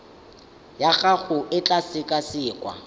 ya gago e tla sekasekwa